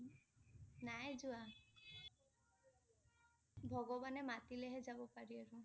নাই যোৱা । ভগৱানে মাতিলেহে যাব পাৰি আৰু।